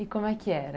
E como é que era?